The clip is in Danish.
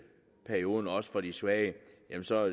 perioden også for de svage